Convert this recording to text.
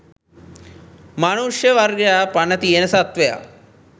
මනුෂ්‍ය වර්ගයා පණ තියෙන සත්වයා